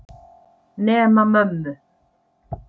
Nema mömmu.